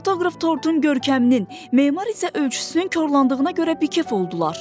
Fotoqraf tortun görkəminin, memar isə ölçüsünün korlandığına görə bikəf oldular.